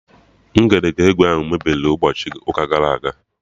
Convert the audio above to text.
Ngedegwu ahụ mebiri n'ụbọchị ụka gara aga